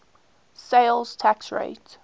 sales tax rate